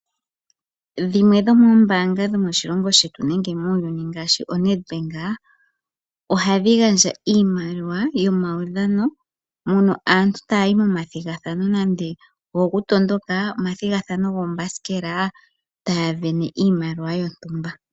Dhimwe dho moombanga dho moshilongo shetu nenge muuyuni ngashi oNedbank ohadhi gandja iimaliwa yo maudhano moka aantu taya yi momathigathano nande ogo ku tondoka, omathigathano gokuhinga oombasikela, taya sindana iimaliwa yontumba.